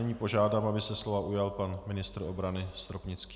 Nyní požádám, aby se slova ujal pan ministr obrany Stropnický.